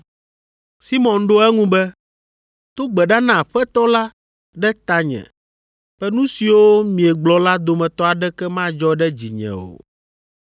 Simɔn ɖo eŋu be, “Do gbe ɖa na Aƒetɔ la ɖe tanye be nu siwo miegblɔ la dometɔ aɖeke madzɔ ɖe dzinye o.”